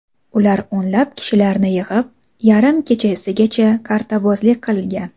Ular o‘nlab kishilarni yig‘ib, yarim kechagacha qartabozlik qilgan.